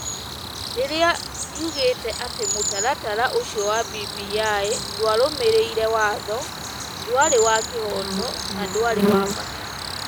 rĩrĩa riugĩte atĩ mũtaratara ũcio wa BBI ndwarũmĩrĩire watho, ndwarĩ wa kĩhooto, na ndwarĩ wa bata.